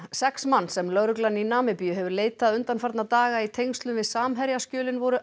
sex manns sem lögreglan í Namibíu hefur leitað undanfarna daga í tengslum við Samherjaskjölin voru